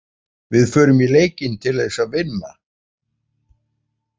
Við förum í leikinn til þess að vinna.